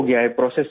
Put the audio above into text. process میں ہے